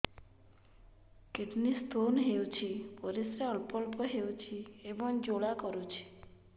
kidney stone ହୋଇଛି ପରିସ୍ରା ଅଳ୍ପ ଅଳ୍ପ ହେଉଛି ଏବଂ ଜ୍ୱାଳା କରୁଛି